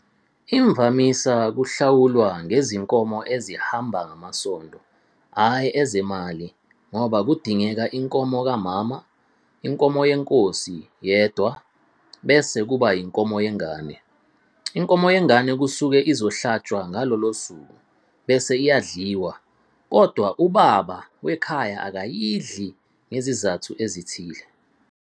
Imvamisa kuhlawulwa ngezinkomo ezihamba ngamasondo ayi ezemali ngoba kudingeka inkomo kamama, inkomo yenkosi yendwa bese kuba inkomo yengane. Inkomo yengane kusuke izohlantshwa ngalolo suku bese iyadliwa koda ubaba wekhaya akayidli ngezizathu ezithile.